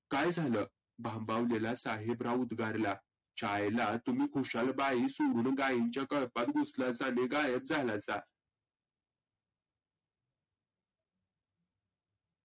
काय झालं? भांबावलेला साहेबराव उद्गारला. शाळेला तुम्ही खुशाल बाई सोडून गाईंच्या कळपात घुसलासा नी गायब झालासा.